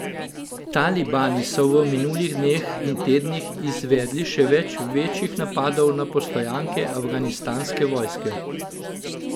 Talibani so v minulih dneh in tednih izvedli še več večjih napadov na postojanke afganistanske vojske.